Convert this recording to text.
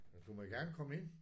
Ja du må gerne komme ind